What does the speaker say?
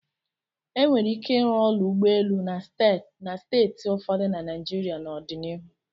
E nwere ike ịrụ ụlọ ụgbọelu na steeti ụfọdụ na Naịjirịa n'ọdịnihu.